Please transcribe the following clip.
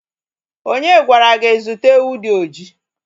Onye gwara gị zụta ewu dị oji?